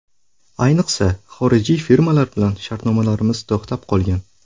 Ayniqsa, xorijiy firmalar bilan shartnomalarimiz to‘xtab qolgan.